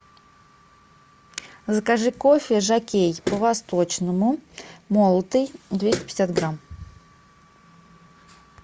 закажи кофе жокей по восточному молотый двести пятьдесят грамм